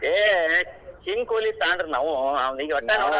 ಏ ಕೊಹ್ಲಿ fan ರೀ ನಾವೂ .